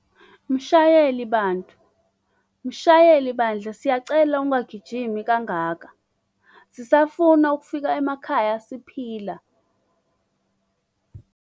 Mshayeli bantu! Mshayeli bandla siyacela ungagijimi kangaka. Sisafuna ukufika emakhaya siphila!